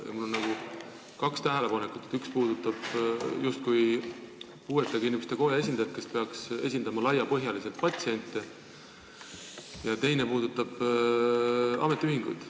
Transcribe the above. Mul on kaks tähelepanekut, üks puudutab puuetega inimeste koja esindajat, kes peaks laiapõhjaliselt patsiente esindama, ja teine puudutab ametiühinguid.